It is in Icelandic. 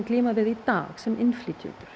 glíma við í dag sem innflytjendur